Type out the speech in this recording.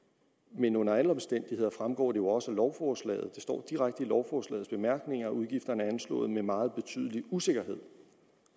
men under alle omstændigheder fremgår det jo også af lovforslaget for det står direkte i lovforslagets bemærkninger at udgifterne er anslået med meget betydelig usikkerhed